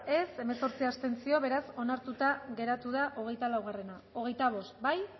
contra hemezortzi abstentzio beraz onartuta geratu da hogeita lau hogeita bost bozkatu